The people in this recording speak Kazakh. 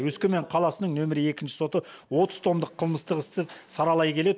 өскемен қаласының нөмір екінші соты отыз томдық қылмыстық істі саралай келе